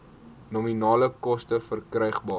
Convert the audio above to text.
nominale koste verkrygbaar